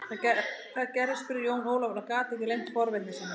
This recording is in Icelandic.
Hvað gerðist spurði Jón Ólafur og gat ekki leynt forvitni sinni.